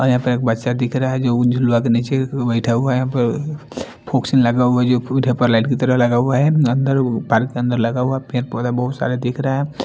और यहां पे एक बच्चा दिखा रहा है जो उ झुलुवा के नीचे बइठा हुआ है यहां पर फोक्स लगा हुआ है जो लाइट की तरह लगा हुआ है अंदर पार्क के अंदर लगा हुआ है पेड़ पौधा बहुत सारे दिख रहे हैं।